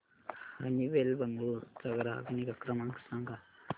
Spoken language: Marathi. हनीवेल बंगळुरू चा ग्राहक निगा नंबर सांगा